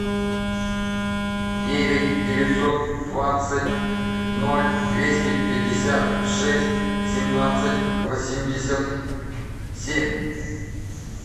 девять девятьсот двадцать ноль двести пятьдесят шесть семнадцать восемьдесят семь